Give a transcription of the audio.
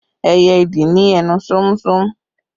Ẹyẹ ìdì ní ẹnu sómúsómú